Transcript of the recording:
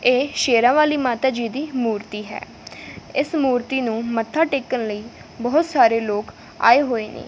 ਇਹ ਸ਼ੇਰਾਂ ਵਾਲੀ ਮਾਤਾ ਜੀ ਦੀ ਮੂਰਤੀ ਹੈ ਇਸ ਮੂਰਤੀ ਨੂੰ ਮੱਥਾ ਟੇਕਣ ਲਈ ਬਹੁਤ ਸਾਰੇ ਲੋਕ ਆਏ ਹੋਏ ਨੇ।